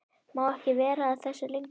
Má ekki vera að þessu lengur.